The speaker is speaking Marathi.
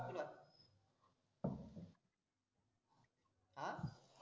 अं